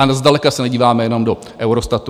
A zdaleka se nedíváme jenom do Eurostatu.